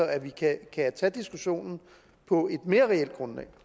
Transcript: at vi kan tage diskussionen på et mere reelt grundlag